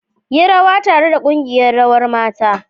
Yi rawa tare da kungiyar Rawar mata.